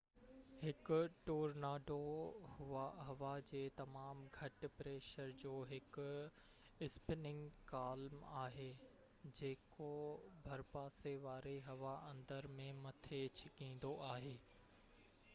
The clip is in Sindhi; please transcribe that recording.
هڪ ٽورناڊو هوا جي تمام گهٽ-پريشر جو هڪ اسپننگ ڪالم آهي جيڪو ڀرپاسي واري هوا اندر ۽ مٿي ڇڪيندو آهي